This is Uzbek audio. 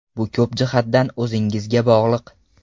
Bu ko‘p jihatdan o‘zingizga bog‘liq.